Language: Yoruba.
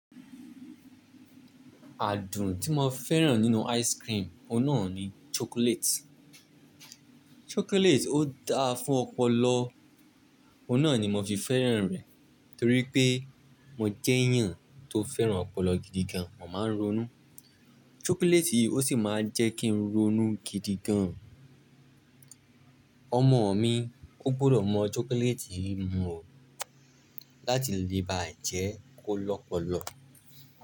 Àádùn tí mo fẹ́ràn nínú ice cream, ọ̀nà ni chocolate. Chocolate ó dáa fún ọpọlọ, ọ̀un nà ni mo fi fẹ́ràn rẹ̀ torí pé mo jẹ́ èèyàn tó fẹ́ràn ọpọlọ gidi gan. Mo máa ń ronú. Chocolate yìí ó sì máa ń jẹ́ kí n ronú gidi gan. Ọmọ mi ó gbọ́dọ̀ mọ chocolate yìí mọ̀ láti lè ba jẹ́ kó lọ́pọlọ.